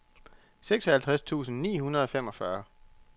seksoghalvtreds tusind ni hundrede og femogfyrre